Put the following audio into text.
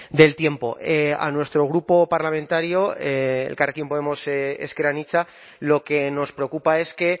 del tiempo a nuestro grupo parlamentario elkarrekin podemos ezker anitza lo que nos preocupa es que